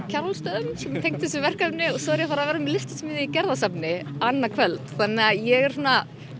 Kjarvalsstöðum sem er tengt þessu verkefni og svo er ég að fara að vera með listasmiðju í Gerðarsafni annað kvöld þannig að ég er svona